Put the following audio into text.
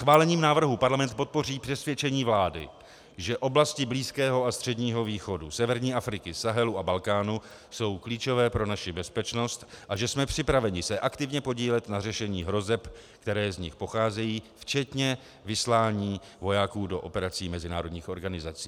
Schválením návrhu Parlament podpoří přesvědčení vlády, že oblasti Blízkého a Středního východu, severní Afriky, Sahelu a Balkánu jsou klíčové pro naši bezpečnost a že jsme připraveni se aktivně podílet na řešení hrozeb, které z nich pocházejí, včetně vyslání vojáků do operací mezinárodních organizací.